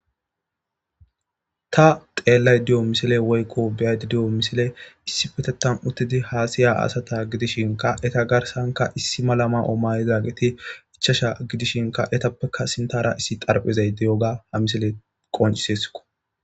Ta xeellay diyo misile woykko biyaydi diyo misile issi petetan uttidi haasiya asata gidishinka eta garsanka issi malama omayizageti ichasha gidishinka etappeka sintara issi xarphizay diyoga ha misile qoncisesko.